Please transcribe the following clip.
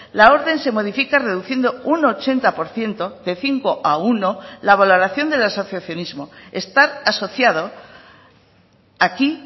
la orden se modifica reduciendo un ochenta por ciento de cinco a uno la valoración del asociacionismo estar asociado aquí